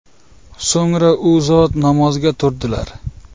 So‘ngra u zot namozga turdilar.